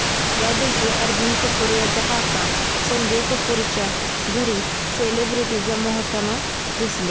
या दिवशी अर्जुन कपूर याचा काका संजय कपूरच्या घरी सेलिब्रिटी जमा होताना दिसले